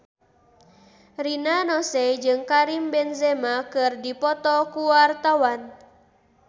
Rina Nose jeung Karim Benzema keur dipoto ku wartawan